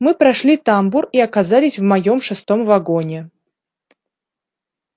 мы прошли тамбур и оказались в моём шестом вагоне